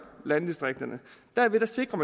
landdistrikterne derved sikrer